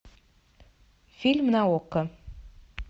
фильм на окко